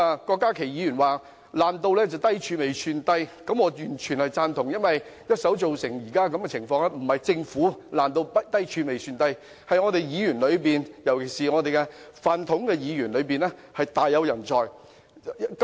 郭家麒議員說"爛到低處未算低"，我完全贊同，因為一手造成現在這種情況，不是政府"爛到低處未算低"，而是議員當中，"飯桶"議員大有人在。